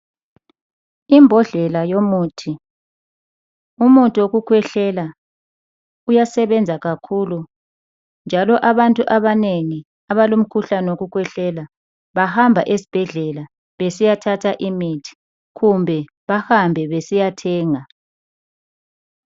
Imbodlela yomuthi, umuthi wokukhwehlela uyasebenza kakhulu njalo abantu abanengi abalomkhuhlane wokukhwehlela bahamba esibhedlela besiyathatha imithi kumbe bahambe besiyathenga.